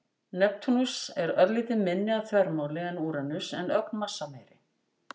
Neptúnus er örlítið minni að þvermáli en Úranus en ögn massameiri.